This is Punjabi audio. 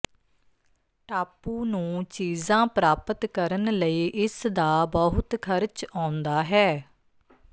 ਟਾਪੂ ਨੂੰ ਚੀਜ਼ਾਂ ਪ੍ਰਾਪਤ ਕਰਨ ਲਈ ਇਸਦਾ ਬਹੁਤ ਖ਼ਰਚ ਆਉਂਦਾ ਹੈ